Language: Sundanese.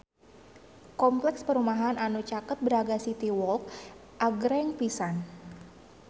Kompleks perumahan anu caket Braga City Walk agreng pisan